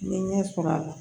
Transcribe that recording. N ye ɲɛ sɔrɔ a la